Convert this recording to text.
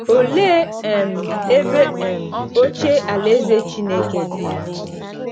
Olee um ebe um oche Alaeze Chineke di?